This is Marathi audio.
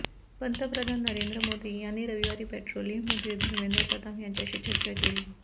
पंतप्रधान नरेंद्र मोदी यांनी रविवारी पेट्रोलियम मंत्री धर्मेंद्र प्रधान यांच्याशी चर्चा केली